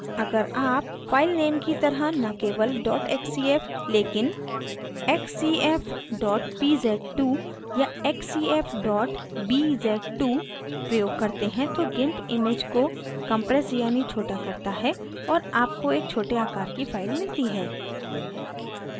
अगर आप file name की तरह न केवल xcf लेकिन xcf pz2 या xcf bz2 प्रयोग करते हैं तो gimp image को compresses यानी छोटा करता है और आपको एक छोटे आकर की file मिलती है